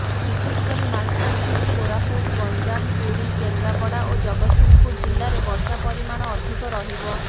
ବିଶେଷକରି ମାଲକାନଗିରି କୋରାପୁଟ ଗଞ୍ଜାମ ପୁରୀ କେନ୍ଦ୍ରାପଡ଼ା ଓ ଜଗତ୍ସିଂହପୁର ଜିଲ୍ଲାରେ ବର୍ଷା ପରିମାଣ ଅଧିକ ରହିବ